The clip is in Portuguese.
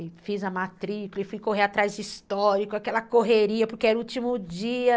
E fiz a matrícula e fui correr atrás de histórico, aquela correria, porque era o último dia.